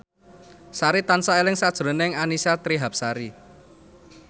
Sari tansah eling sakjroning Annisa Trihapsari